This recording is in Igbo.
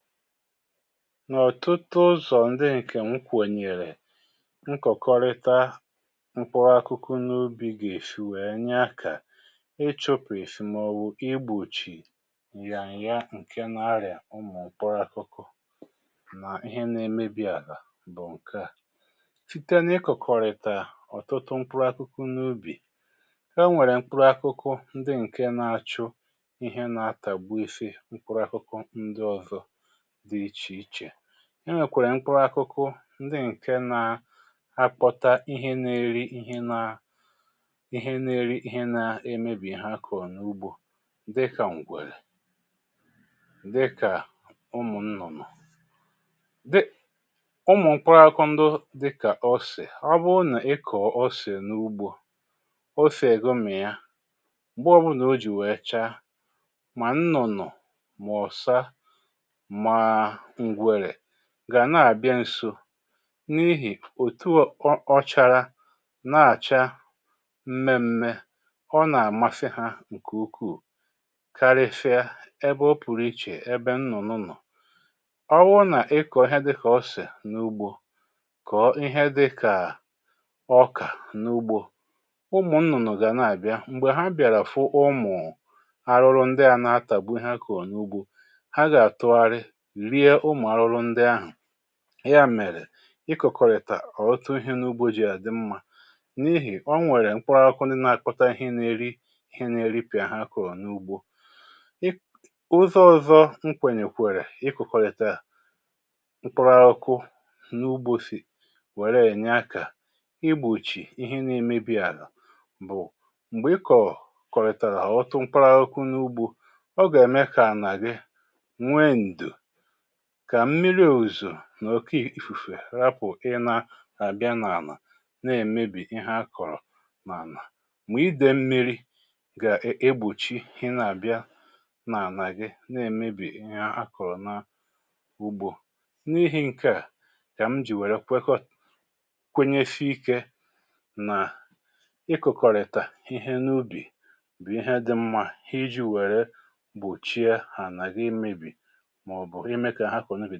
N’ọ̀tụtụ ụzọ̀ ńdị ǹkè m kwènyèrè nkọ̀kọrịta mkpụrụ akụkụ n’ubì gà-èsì wee nyé ákà maọ̀wụ̀ igbòchì nyà ǹya ǹke na-arị̀à ụmụ̀ mkpụrụ akụkụ mà ihe nà-emebi àlà bụ̀ ǹke à. Site n'ịkọ̀kọ̀rị̀tà ọ̀tụtụ mkpụrụ akụkụ n’ubì, o nwèrè mkpụrụ akụkụ ndị ǹke na-achụ ihe na-atàgbu ife mkpụrụ akụkụ ndị ọ̀zọ dị ichè ichè. E nwèkwàrà mkpụrụ akụkụ ndị ǹke naa ákpọtá íhé na-eri íhé naa, ihe na-erí ihe naa emebì ha kọ̀rọ̀ n’ugbȯ dịkà ǹgwèrè dịkà ụmụ̀ ńnụ̀nụ̀ Ụmụ̀ mkpụrụ akụkụ ndụ dịkà osè, ọ bụrụ nà-ịkọọ̀ osè n’ugbȯ, osè gụ́mìa, mgbe ọbụnà o jì wèe chaa, mà nnụ̀nụ̀ mà ọ̀sá ma ǹgwèrè gàna àbịa nso n’ihì òtu um ọ chara, na-àchá mmemme, ọ nà-àmasị ha ǹkè ukuù karịsịa ebe ọ pụ̀rụ̀ ichè ébé nnụ̀nụ nọ̀, ọ wụrụ nà ị kọ̀ọ ihe dịkà osè n’ugbȯ, kọ̀ọ ihe dịkaà ọkà n’ugbȯ, ụmụ̀ nnụ̀nụ̀ gà na-àbịa. Mgbè ha bịàrà fụ ụmụ̀ àrụrụ ndị à na-atàgbu ihe ha akọ̀rọ n’ugbȯ, ha ga-atụghalị rie ụmụ arụrụ ndị ahụ. Ya mèrè, ikọkọ̀rị̀tà ọ̀ụtụ ihe n’ugbȯjì àdị mmȧ n’ihì o nwèrè mkpụrụ aụkụ ndị na-akọta ihe na-eri ihe na-eripị̀à ha kọ̀rọ̀ n’ugbȯ. Ụzo ọ̀zọ m kwènyèkwèrè ịkọkọ̀rị̀tà mkpụrụ aụkụ n’ugbȯ sì wèré ènyé ákà ígbòchì ihe na-emebi àlà bụ̀ m̀gbè ị kọ̀ọ̀ kọ̀rị̀tàrà ọtụtụ mkpụrụ aụkụ n’ugbȯ, ọ gà-ème kà ànà gị nwee ndo kà mmiri òuzò na òké ìfùfè rapụ̀ ịna àbịa n’ànà na-èmebì ihe akọ̀rọ̀ n’ànà, mà idė mmiri gà um egbòchí hịna-àbịa n’ànà gị na-èmebì ihe akọ̀rọ̀ n’ugbȯ. N’ihì ǹke à kà m jì wère kwenyesii íkė nà ịkụ̀kọrịtà ihe n’ubì bụ̀ ihe dị mmȧ iji wèré gbòchie ànà gị imebì màọbụ ime ka.